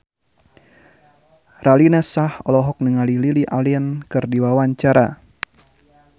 Raline Shah olohok ningali Lily Allen keur diwawancara